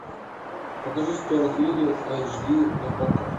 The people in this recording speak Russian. покажи стюарт литл айч ди на окко